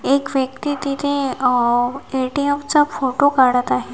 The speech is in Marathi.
एक व्यक्ती तिथे अ ए_टी_एम चा फो फोटो काढत आहे.